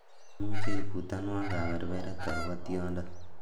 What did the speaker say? imuche ibutanwan kaberberet agopo tyondo